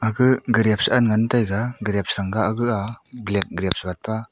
ga grapes sa ngan taiga grapes senga ga aa black grapes gatpa.